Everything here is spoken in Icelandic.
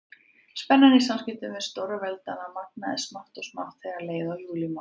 Spennan í samskiptum stórveldanna magnaðist smátt og smátt þegar leið á júlímánuð.